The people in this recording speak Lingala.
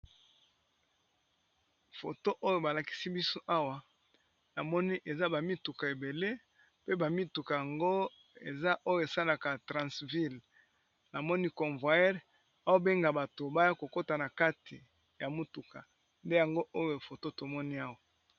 Foto oyo, balakisi biso awa, na moni eza ba mituka ebele, pe ba mituka yango eza oyo esalaka transville. Na moni covoyeur azo benga bato baya kokota na kati ya motuka. Nde yango oyo foto tomoni awa.